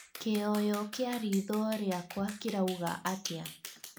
kĩyoyo kĩa ritho rĩakwa kĩrauga atĩa